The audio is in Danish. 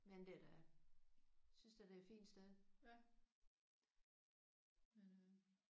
Men det er da synes da det er et fint sted